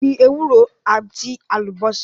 Gbin ewúro àti àlùbásà